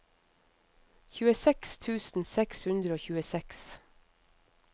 tjueseks tusen seks hundre og tjueseks